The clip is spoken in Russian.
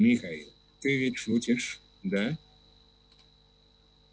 михаил ты ведь шутишь да